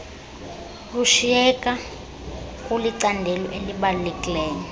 lusyiyeka kulicandelo elibaluleke